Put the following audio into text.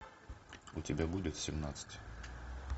у тебя будет семнадцать